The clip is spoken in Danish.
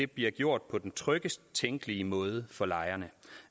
bliver gjort på den tryggest tænkelige måde for lejerne